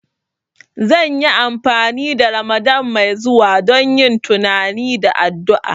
Zan yi amfani da Ramadan mai zuwa don yin tunani da addu'a